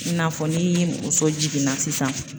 I n'a fɔ ni muso jiginna sisan